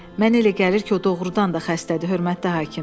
Mənə elə gəlir ki, o doğrudan da xəstədir, hörmətli hakim.